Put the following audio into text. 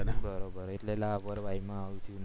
અને બરોબર એટલે લા પર્વાહી માં આવતી